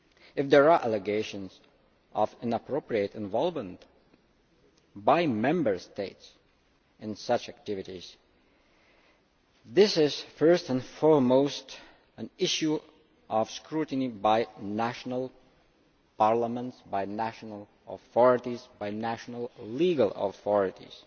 If there are allegations of inappropriate involvement by Member States in such activities, this is first and foremost an issue of scrutiny by national parliaments, by national authorities, by national legal authorities,